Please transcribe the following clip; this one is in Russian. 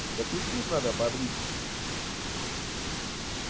да писюн надо побрить